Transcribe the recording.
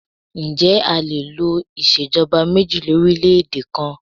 Ǹjẹ́ a lè lo ìṣèjọba méjì lórílèèdè kan?